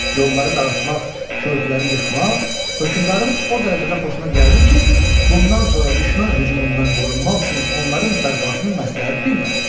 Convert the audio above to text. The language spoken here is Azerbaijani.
Yolları dağıtmaq, körpüləri yıxmaq hökmdarın o dərəcədə xoşuna gəldi ki, bundan sonra düşmən hücumundan qorunmaq üçün onların bərpasını məsləhət bilmədi.